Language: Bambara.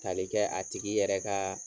Tali kɛ a tigi yɛrɛ kaa